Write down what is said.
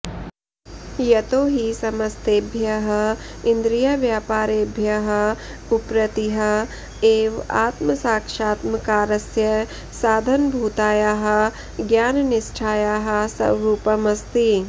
यतो हि समस्तेभ्यः इन्द्रियव्यापारेभ्यः उपरतिः एव आत्मसाक्षात्मकारस्य साधनभूतायाः ज्ञाननिष्ठायाः स्वरूपम् अस्ति